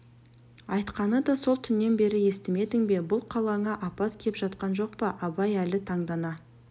айтқаны сол түннен бері естімедің бе бұл қалаңа апат кеп жатқан жоқ па абай әлі таңдана